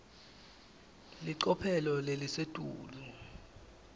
licophelo lelisetulu